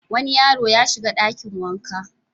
Wani yaro ya shiga ɗakin wanka.